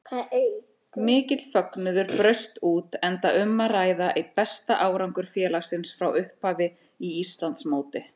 Mikill fögnuður braust út enda um að ræða besta árangur félagsins frá upphafi í Íslandsmóti.